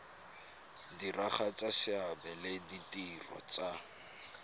diragatsa seabe le ditiro tsa